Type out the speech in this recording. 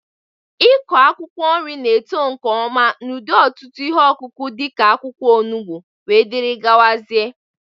Ịkọ akwụkwọ nri na-eto nke ọma n'ụdị ọtụtụ ihe ọkụkụ dị ka akwụkwọ onugbu wdg.